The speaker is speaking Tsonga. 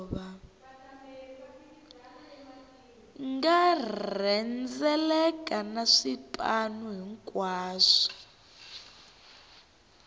nga rhendzeleka na swipanu hinkwaswo